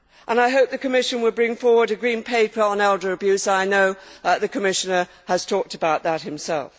I hope that the Commission will bring forward a Green Paper on elder abuse I know that the Commissioner has talked about that himself.